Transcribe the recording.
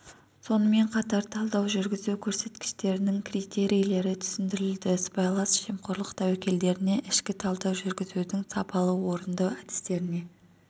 сонымен қатар талдау жүргізу көрсеткіштерінің критерилері түсіндірілді сыбайлас жемқорлық тәуекелдеріне ішкі талдау жүргізуді сапалы орындау әдістеріне